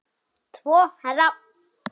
Tvo héra